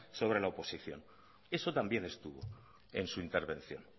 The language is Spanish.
sobre la oposición eso también estuvo en su intervención